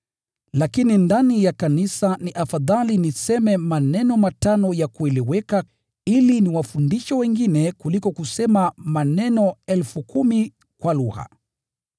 Lakini ndani ya kanisa ni afadhali niseme maneno matano ya kueleweka ili niwafundishe wengine kuliko kusema maneno 10,000 kwa lugha.